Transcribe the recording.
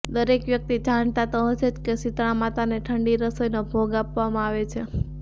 દરેક વ્યક્તિ જાણતા તો હશો જ કે શીતળા માતાને ઠંડી રસોઈનો ભોગ આપવામાં આવે છે